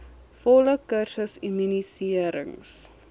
volle kursus immuniserings